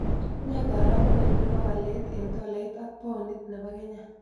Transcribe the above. Ne karogunet ne po walet eng' tolait ak paunit ne po kenya